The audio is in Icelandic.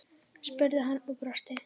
spurði hann og brosti.